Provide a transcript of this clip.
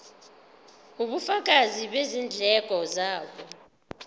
ubufakazi bezindleko zabo